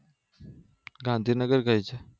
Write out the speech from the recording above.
ગાંધીનગર કયું